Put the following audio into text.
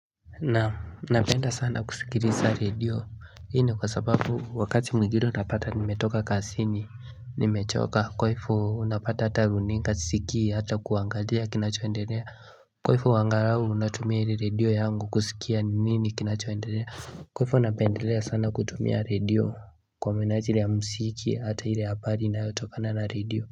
Naam napenda sana kusikiliza radio hii ni kwa sababu wakati mwingine utapata nimetoka kasini nimechoka kwahivo unapata hata runinga sisikii hata kuangalia kinachoendelea kwaivu angalau natumia ili radio yaangu kusikia ni nini kinachoendelea kwahivo napendelea sana kutumia radio kwa minaji ili ya msiki hata ili ya pari inayotokana na radio.